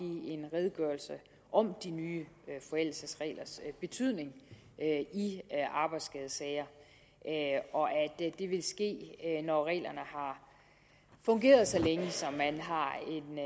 en redegørelse om de nye forældelsesreglers betydning i arbejdsskadesager og at det vil ske når reglerne har fungeret så længe at man har